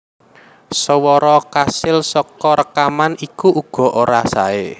Swara kasil saka rékaman iku uga ora saé